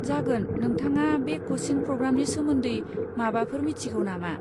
जागोन, नोंथाङा बे कचिं प्रग्रामनि सोमोन्दै माबाफोर मिथिगौ नामा?